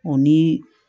O nii